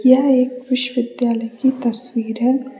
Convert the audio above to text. यह एक विश्वविद्यालय की तस्वीर है।